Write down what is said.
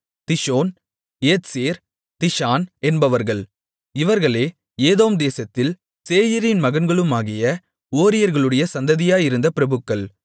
Dishon Ezer Dishan என்பவர்கள் இவர்களே ஏதோம் தேசத்தில் சேயீரின் மகன்களுமாகிய ஓரியர்களுடைய சந்ததியாயிருந்த பிரபுக்கள்